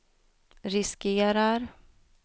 riskerar